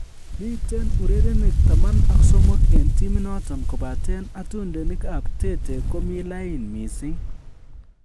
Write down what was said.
Miten urerenik 13 en timit noton kobaten atundenikab Tete ko mi lain mising